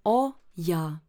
O, ja.